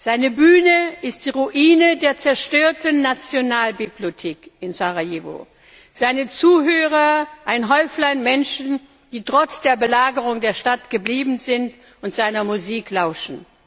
Seine Bühne ist die Ruine der zerstörten Nationalbibliothek in Sarajevo, seine Zuhörer ein Häuflein Menschen, die trotz der Belagerung der Stadt geblieben sind und seiner Musik lauschen.